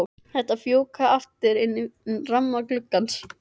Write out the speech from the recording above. Þeir fjúka aftur inn fyrir ramma gluggans.